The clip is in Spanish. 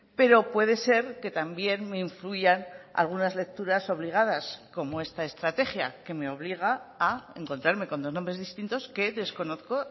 pero puede ser que también me influyan algunas lecturas obligadas como esta estrategia que me obliga a encontrarme con dos nombres distintos que desconozco